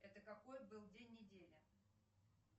это какой был день недели